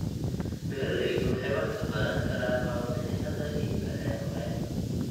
Beeraleydu waxay wax ka baran karaan warbixinnada iibka ee hore.